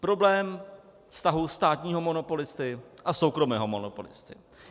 Problém vztahu státního monopolisty a soukromého monopolisty.